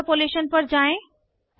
interpolation पर जाएँ